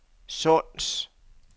Sunds